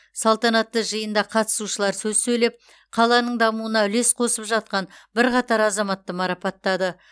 салтанатты жиында қатысушылар сөз сөйлеп қаланың дамуына үлес қосып жатқан бірқатар азаматты марапаттады